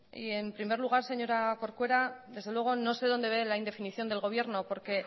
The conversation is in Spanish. y en primer lugar señora corcuera desde luego no sé dónde ve la indefinición del gobierno porque